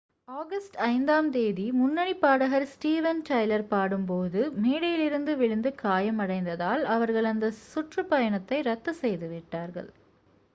August 5 ஆம் தேதி முன்னணிப் பாடகர் ஸ்டீவன் டைலர் பாடும்போது மேடையிலிருந்து விழுந்து காயமடைந்ததால் அவர்கள் அந்த சுற்றுப் பயணத்தை ரத்து செய்து விட்டார்கள்